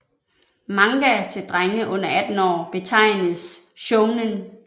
Manga til drenge under 18 år betegnes shounen